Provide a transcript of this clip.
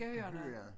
Kan høre